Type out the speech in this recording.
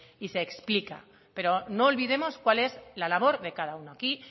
y se explica pero no olvidemos cuál es la labor de cada uno aquí